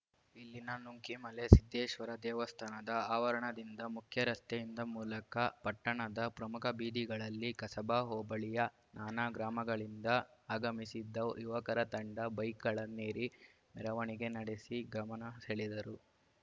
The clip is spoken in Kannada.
ಇಲ್ಲಿನ ನುಂಕಿಮಲೆ ಸಿದ್ದೇಶ್ವರ ದೇವಸ್ಥಾನದ ಆವರಣದಿಂದ ಮುಖ್ಯ ರಸ್ತೆಯಿಂದ ಮೂಲಕ ಪಟ್ಟಣದ ಪ್ರಮುಖ ಬೀದಿಗಳಲ್ಲಿ ಕಸಬಾ ಹೋಬಳಿಯ ನಾನಾ ಗ್ರಾಮಗಳಿಂದ ಆಗಮಿಸಿದ್ದ ಯುವಕರ ತಂಡ ಬೈಕ್‌ಗಳನ್ನೇರಿ ಮೆರವಣಿಗೆ ನಡೆಸಿ ಗಮನ ಸೆಳೆದರು